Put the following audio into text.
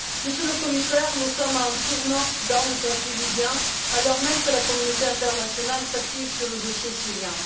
Monsieur le Commissaire, nous sommes à un tournant dans le conflit libyen, alors même que la communauté internationale s'active sur le dossier syrien.